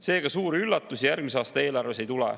Seega, suuri üllatusi järgmise aasta eelarves ei tule.